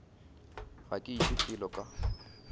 ga ke iše felo ka